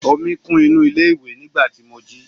omi kún inú ilé iwe nigba tí mo jí